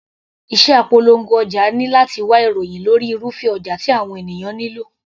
Iṣẹ́ apolongo ọjà ni láti wá ìròhìn lórí irúfẹ́ ọjà tí àwọn ènìyàn nílò.